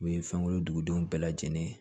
U ye fɛnkolondenw bɛɛ lajɛlen ye